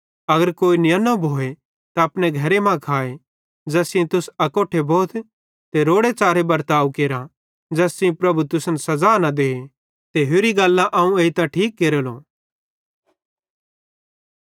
अगर कोई नियन्नो भोए त अपने घरे मां खाए ज़ैस सेइं तुस अकोट्ठे भोथ रोड़े च़ारे बर्ताव केरा ज़ैस सेइं प्रभु तुसन सज़ा न दे ते होरि गल्लां अवं एइतां ठीक केरेलो